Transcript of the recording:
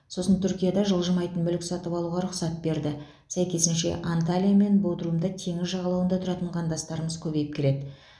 сосын түркияда жылжымайтын мүлік сатып алуға рұқсат берді сәйкесінше анталия мен бодрумда теңіз жағалауында тұратын қандастарымыз көбейіп келеді